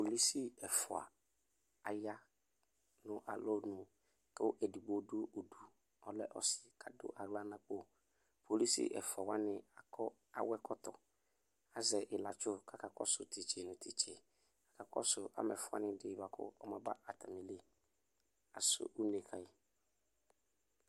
kpolusi ɛfua aya no alɔnu ko edigbo do udu ɔlɛ ɔse ko ado ala n'akpo kpolusi ɛfua wani akɔ awɛkɔtɔ azɛ ilatso k'aka kɔso titse no titse aka kɔso amɛfoa ni di boa ko ɔma ba atami li kaso une kayi